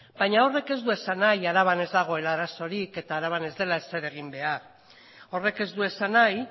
baina horrek ez du esan nahi araban ez dagoela arazorik eta araban ez dela ezer egin behar horrek ez du esan nahi